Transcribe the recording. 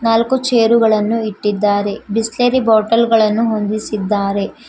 ನಾಲ್ಕು ಚೇರು ಗಳನ್ನು ಇಟ್ಟಿದ್ದಾರೆ ಬಿಸ್ಲೇರಿ ಬಾಟಲ್ ಗಳನ್ನು ಹೊಂದಿಸಿದ್ದಾರೆ.